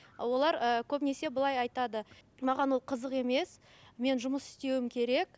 олар ыыы көбінесе былай айтады маған ол қызық емес мен жұмыс істеуім керек